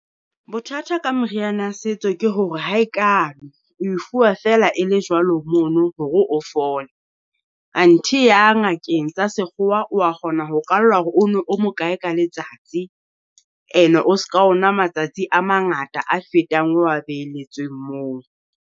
Bothata ka moriana setso ke hore ha e kalwe, oe fuwa feela e le jwalo mono hore o fole. Anthe ya ngakeng tsa sekgowa, wa kgona ho kwallwa hore o nwe o mo kae ka letsatsi, And-e o ska o nwa matsatsi a mangata a fetang o wa beletsweng moo.